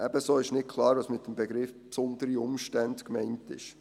Ebenso ist nicht klar, was mit dem Begriff «besondere Umstände» gemeint ist.